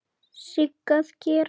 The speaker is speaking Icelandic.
Sigga að gera?